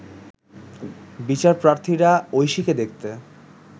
বিচারপ্রার্থীরা ঐশীকে দেখতে